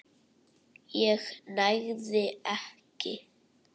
ég nægði ekki.